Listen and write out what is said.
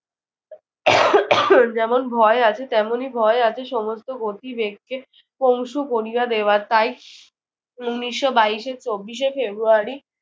যেমন ভয় আছে তেমনি ভয় আছে সমস্ত গতিবেগকে পংশু করিয়া দেওয়ার। তাই উনিশশো বাইশের চব্বিশে ফেব্রুয়ারি